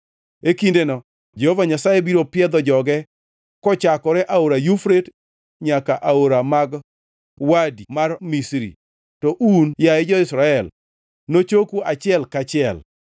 E kindeno Jehova Nyasaye biro piedho joge kochakore Aora Yufrate nyaka aore mag Wadi mar Misri, to un, yaye jo-Israel nochoku achiel kaachiel.